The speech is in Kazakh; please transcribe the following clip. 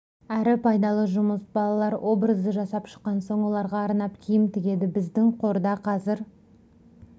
әрі пайдалы жұмыс балалар образды жасап шыққан соң оларға арнап киім тігеді біздің қорда қазір